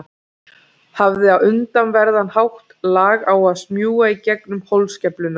Hafði á undraverðan hátt lag á að smjúga í gegnum holskeflurnar.